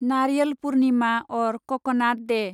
नारियाल पुर्निमा अर क'क'नाट दे